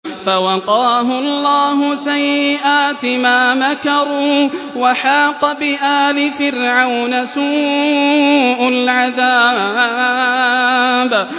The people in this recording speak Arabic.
فَوَقَاهُ اللَّهُ سَيِّئَاتِ مَا مَكَرُوا ۖ وَحَاقَ بِآلِ فِرْعَوْنَ سُوءُ الْعَذَابِ